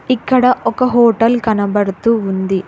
ఇక్కడ ఒక హోటల్ కనబడుతూ ఉంది.